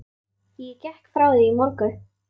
Ég gekk frá því í morgun.